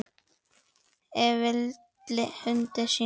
Ef til vill húninum sínum?